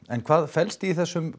en hvað felst í þessum